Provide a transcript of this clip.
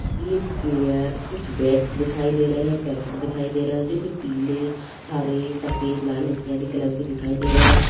Lip care कुछ bags दिखाई दे रहे हैं पैकेट दिखाई दे रहे हैं जोकि पीले हरे सफेद लाल इत्यादि कलर के दिखाई दे रहे हैं ।